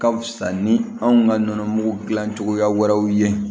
Ka fisa ni anw ka nɔnɔmugu dilan cogoya wɛrɛw ye